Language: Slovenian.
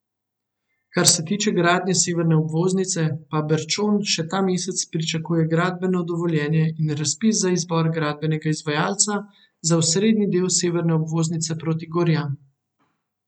Kar se tiče gradnje severne obvoznice, pa Berčon še ta mesec pričakuje gradbeno dovoljenje in razpis za izbor gradbenega izvajalca za osrednji del severne obvoznice proti Gorjam.